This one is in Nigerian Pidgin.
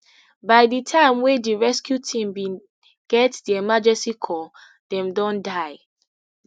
by di time wey di rescue team bin get di emergency call dem don die